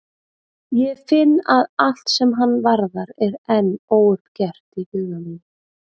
Ég finn að allt sem hann varðar er enn óuppgert í huga mínum.